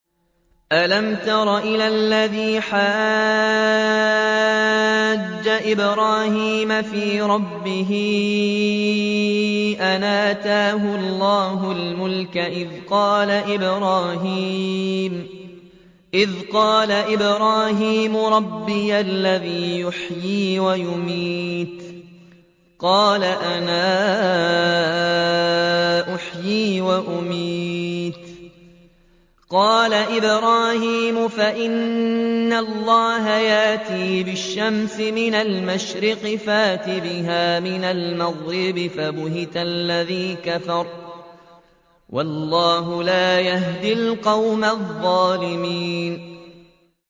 أَلَمْ تَرَ إِلَى الَّذِي حَاجَّ إِبْرَاهِيمَ فِي رَبِّهِ أَنْ آتَاهُ اللَّهُ الْمُلْكَ إِذْ قَالَ إِبْرَاهِيمُ رَبِّيَ الَّذِي يُحْيِي وَيُمِيتُ قَالَ أَنَا أُحْيِي وَأُمِيتُ ۖ قَالَ إِبْرَاهِيمُ فَإِنَّ اللَّهَ يَأْتِي بِالشَّمْسِ مِنَ الْمَشْرِقِ فَأْتِ بِهَا مِنَ الْمَغْرِبِ فَبُهِتَ الَّذِي كَفَرَ ۗ وَاللَّهُ لَا يَهْدِي الْقَوْمَ الظَّالِمِينَ